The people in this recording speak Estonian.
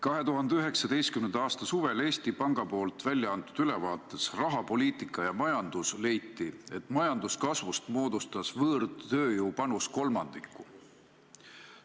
2019. aasta suvel Eesti Panga välja antud ülevaates "Rahapoliitika ja majandus" leiti, et võõrtööjõu panus moodustas majanduskasvust kolmandiku.